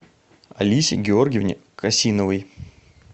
алисе георгиевне косиновой